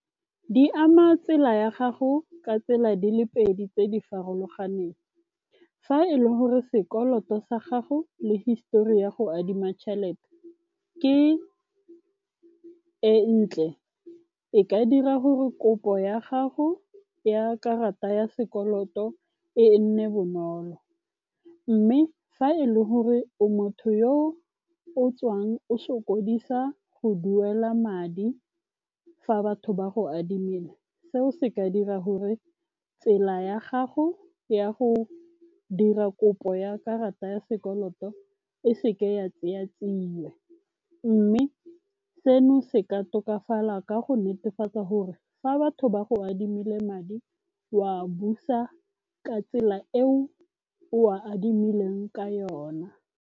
Di ama tsela ya gago ka tsela di le pedi tse di farologaneng. Fa e le gore sekoloto sa gago le histori ya go adima tšhelete ke e ntle, e ka dira gore kopo ya gago ya karata ya sekoloto e nne bonolo. Mme fa e le gore o motho yo o tswang o sokodisa go duela madi fa batho ba go adimile, seo se ka dira gore tsela ya gago ya go dira kopo ya karata ya sekoloto e seke ya tseya tsia. Mme seno se ka tokafala ka go netefatsa gore fa batho ba go adimile madi wa busa ka tsela eo o a adimileng ka yona.